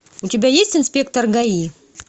у тебя есть инспектор гаи